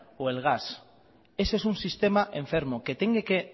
o el gas ese es un sistema enfermo que tiene que